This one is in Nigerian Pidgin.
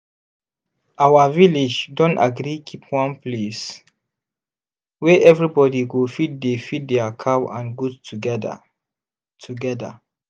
our village don agree keep one place wey everybody go fit dey feed their cow and goat together. together.